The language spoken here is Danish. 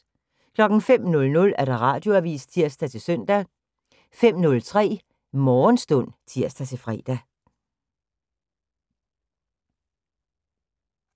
05:00: Radioavis (tir-søn) 05:03: Morgenstund (tir-fre)